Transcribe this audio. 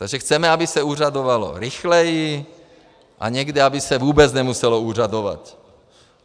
Takže chceme, aby se úřadovalo rychleji a někdy aby se vůbec nemuselo úřadovat.